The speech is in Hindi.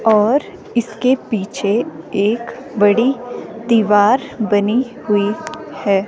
और इसके पीछे एक बड़ी दीवार बनी हुई है।